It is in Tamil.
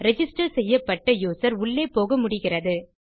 ரிஜிஸ்டர் செய்யப்பட்ட யூசர் உள்ளே போக முடிகிறது